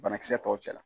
Banakisɛ tɔw cɛla